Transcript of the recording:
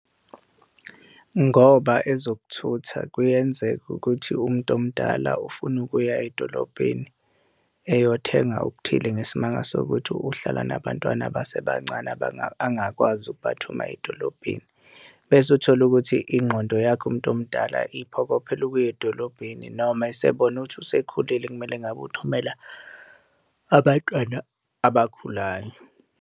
Ngoba ezokuthutha kuyenzeka ukuthi umuntu omdala ufuna ukuya edolobheni eyothenga okuthile ngesimanga sokuthi uhlala nabantwana abasebancane, angakwazi ukubathuma edolobheni. Bese uthola ukuthi ingqondo yakhe umuntu omdala iphokophele ukuya edolobheni, noma esebona ukuthi usekhulile ekumele ngabe uthumela abantwana abakhulayo.